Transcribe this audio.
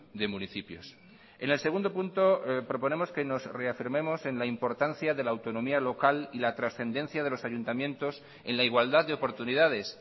de municipios en el segundo punto proponemos que nos reafirmemos en la importancia de la autonomía local y la trascendencia de los ayuntamientos en la igualdad de oportunidades